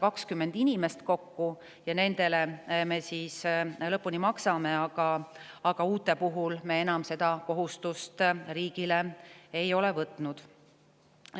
Me nendele pensioni maksmist, aga uute inimeste puhul me enam riigile seda kohustust ei ole võtnud.